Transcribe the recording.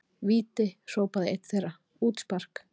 Víti! hrópaði einn þeirra, útspark!